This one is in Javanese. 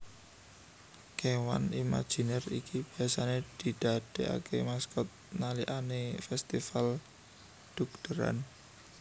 Kéwan imaginer iki biasane didadeake maskot nalikané festifal dhugderan